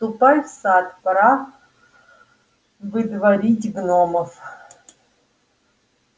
ступай в сад пора выдворить гномов